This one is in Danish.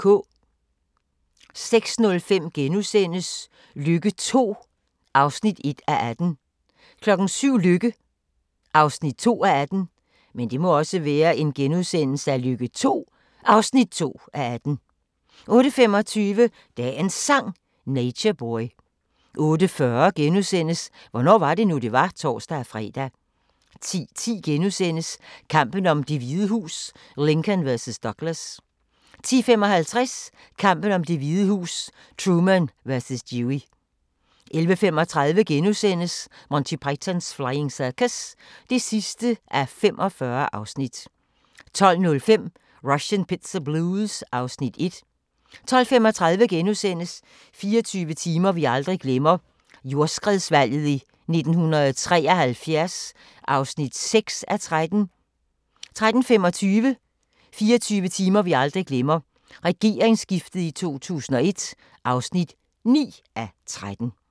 06:05: Lykke II (1:18)* 07:00: Lykke (2:18)* 08:25: Dagens Sang: Nature Boy 08:40: Hvornår var det nu, det var? *(tor-fre) 10:10: Kampen om Det Hvide Hus: Lincoln vs. Douglas * 10:55: Kampen om Det Hvide Hus: Truman vs. Dewey 11:35: Monty Python's Flying Circus (45:45)* 12:05: Russian Pizza Blues (Afs. 1) 12:35: 24 timer vi aldrig glemmer – jordskredsvalget i 1973 (6:13)* 13:25: 24 timer vi aldrig glemmer – regeringsskiftet i 2001 (9:13)